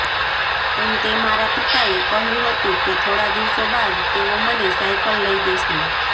અંતે મારા પિતાએ કહ્યું હતું કે થોડા દિવસો બાદ તેઓ મને સાઇકલ લઈ દેશે